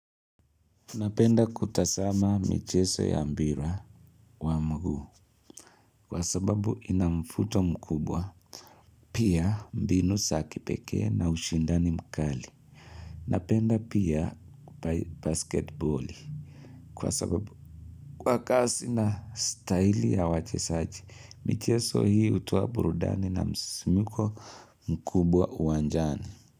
Napenda kutazama michezo ya mpira wa mguu kwa sababu ina mvuto mkubwa, pia mbinu za kipekee na ushindani mkali. Napenda pia basketboli kwa sababu kwa kasi na staili ya wachezaji, michezo hii hutoa burudani na msisimko mkubwa uwanjani.